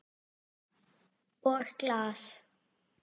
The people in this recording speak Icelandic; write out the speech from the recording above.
Og glas.